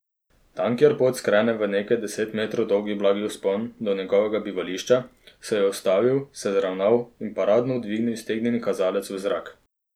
Tam kjer pot skrene v nekaj deset metrov dolg blagi vzpon do njegovega bivališča, se je ustavil se zravnal in paradno dvignil iztegnjeni kazalec v zrak.